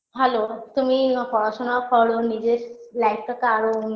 ভালো তুমি অ পড়াশোনা করো নিজের life -টাতে আরও